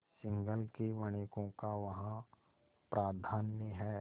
सिंहल के वणिकों का वहाँ प्राधान्य है